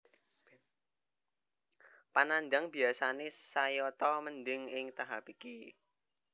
Panandhang biyasane sayata mendhing ing tahap iki